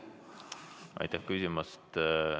Aitäh küsimast!